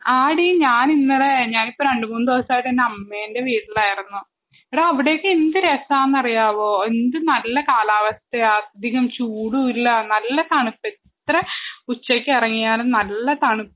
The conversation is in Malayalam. ആടീ ഞാനിന്നലെ ഞാനിപ്പോ രണ്ട് മൂന്ന് ദിവസായിട്ട് എന്റെ അമ്മേന്റെ വീട്ടിലായ്ര്രുന്നു എടാ അവിടൊക്കെ എന്ത് രസാന്നറിയാവോ എന്ത് നല്ല കാലാവസ്ഥയാ അധികം ചൂടൂല്ലാ നല്ല തണുപ്പ് എത്ര ഉച്ചക്കെറങ്ങിയാലും നല്ല തണുപ്പ്